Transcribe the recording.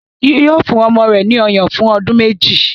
Yóò fún ọmọ rẹ̀ ní ọyàn fún ọdún méjì.